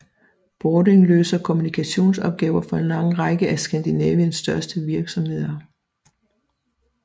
Bording løser kommunikationsopgaver for en lang række af Skandinaviens største virksomheder